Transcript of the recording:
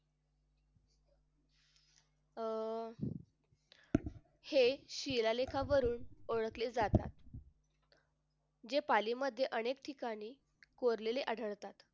अह हे शिलालेखावरून ओळखले जातात जे पालीमध्ये अनेक ठिकाणी कोरलेले आढळतात.